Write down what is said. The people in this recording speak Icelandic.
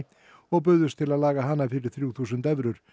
og buðust til að laga hana fyrir þrjú þúsund evrur